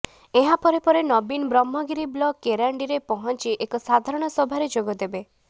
ଏହା ପରେ ପରେ ନବୀନ ବ୍ରହ୍ମଗିରି ବ୍ଲକ କେରାଣ୍ଡିରେ ପହଞ୍ଚି ଏକ ସାଧାରଣ ସଭାରେ ଯୋଗଦେବେ